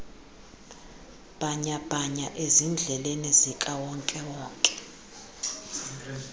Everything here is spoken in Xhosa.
bhanyabhanya ezindleleni zikawonkewonke